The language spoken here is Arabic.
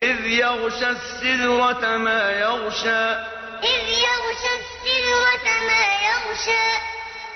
إِذْ يَغْشَى السِّدْرَةَ مَا يَغْشَىٰ إِذْ يَغْشَى السِّدْرَةَ مَا يَغْشَىٰ